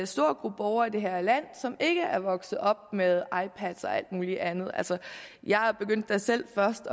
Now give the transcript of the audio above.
stor gruppe borgere i det her land som ikke er vokset op med ipads og alt muligt andet jeg begyndte da selv først